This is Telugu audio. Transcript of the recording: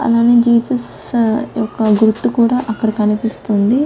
అలానే జీసస్ యొక్క గుర్తు కూడా అక్కడ కనిపిస్తుంది.